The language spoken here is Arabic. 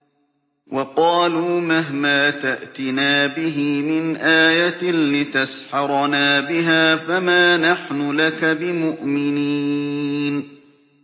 وَقَالُوا مَهْمَا تَأْتِنَا بِهِ مِنْ آيَةٍ لِّتَسْحَرَنَا بِهَا فَمَا نَحْنُ لَكَ بِمُؤْمِنِينَ